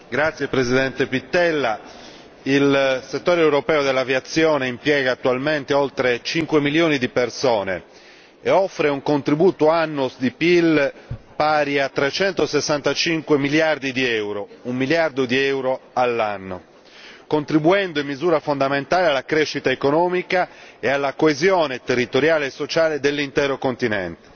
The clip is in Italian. Signor Presidente, onorevoli colleghi, il settore europeo dell'aviazione impiega attualmente oltre 5 milioni di persone e offre un contributo annuo di PIL pari a 365 miliardi di euro, un miliardo di euro al giorno, contribuendo in misura fondamentale alla crescita economica e alla coesione territoriale e sociale dell'intero continente.